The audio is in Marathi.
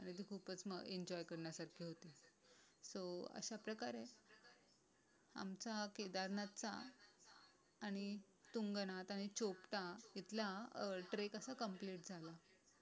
खूपच एन्जॉय करण्यासारखे होते. सो अशा प्रकारे आमचा केदारनाथचा आणि तुंगनाथ आणि चोपटा त तिथला ट्रेक कसा कम्प्लीट झाला